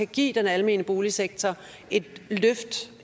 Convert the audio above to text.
give den almene boligsektor et løft